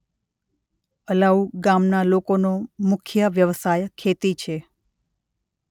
અલાઉ ગામના લોકોનો મુખ્ય વ્યવસાય ખેતી છે.